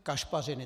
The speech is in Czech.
Kašpařiny.